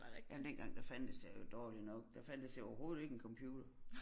Jamen dengang der fandtes det jo dårligt nok der fandtes jo overhovedet ikke en computer